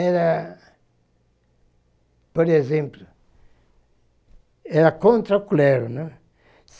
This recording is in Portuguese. era, por exemplo, era contra o clero, né.